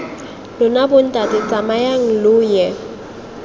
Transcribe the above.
lona bontate tsamayang lo ye